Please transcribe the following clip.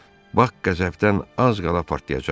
Bak qəzəbdən az qala partlayacaqdı.